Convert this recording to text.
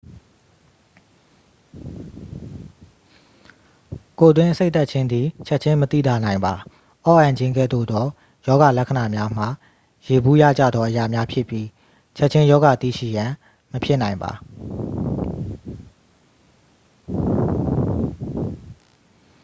ကိုယ်တွင်းအဆိပ်တက်ခြင်းသည် ချက်ခြင်းမသိသာနိုင်ပါ အော့အန်ခြင်းကဲ့သို့သော ရောဂါလက္ခဏာများမှာ ယေဘုယျကျသောအရာများဖြစ်ပြီး ချက်ခြင်းရောဂါသိရှိရန် မဖြစ်နိုင်ပါ